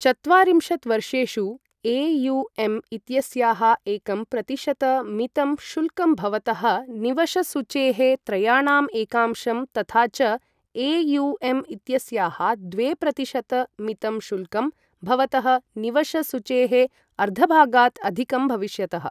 चत्वारिंशत् वर्षेषु, ए.यु.एम् इत्यस्याः एकं प्रतिशत मितं शुल्कं भवतः निवशसूचेः त्रयाणाम् एकांशं तथा च ए.यु.एम् इत्यस्याः द्वे प्रतिशत मितं शुल्कं भवतः निवशसूचेः अर्धभागात् अधिकं भविष्यतः।